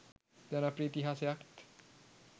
ජනප්‍රිය ඉතිහාසයත්